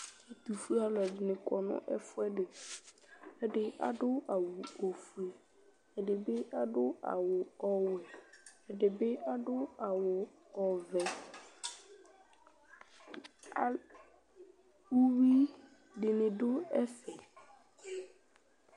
Ɛtufue alu ɛdini kɔ nu ɛfu ɛdi Ɛdi adu awu ɔfue ɛdi bi adu awu ɔwɛ ɛdibi adu awu ɔvɛ Uyui dini du ɛfɛ